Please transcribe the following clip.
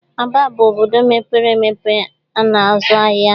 Aba bụ obodo mepere empe a na-azụ ahia.